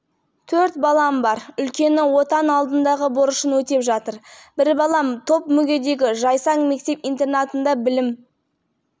алып жүр біреуі мектепте оқиды ал жастағы балам туа бітті сал ауруына шалдығып алға ауданындағы